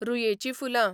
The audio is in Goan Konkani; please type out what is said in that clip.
रुयेचीं फुलां